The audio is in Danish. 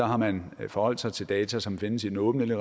har man forholdt sig til data som findes i den åbne